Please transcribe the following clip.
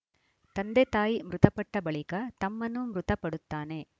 ತಂದೆತಾಯಿ ಮೃತಪಟ್ಟಬಳಿಕ ತಮ್ಮನೂ ಮೃತಪಡುತ್ತಾನೆ